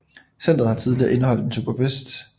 Centret har tidligere indeholdt en SuperBest